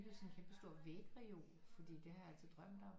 Byggede sådan en kæmpestor vægreol fordi det har jeg altid drømt om